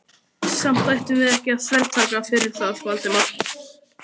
Samt ættum við ekki að þvertaka fyrir það, Valdimar.